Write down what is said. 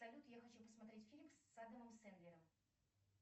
салют я хочу посмотреть фильм с адамом сэндлером